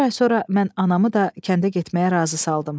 Bir ay sonra mən anamı da kəndə getməyə razı saldım.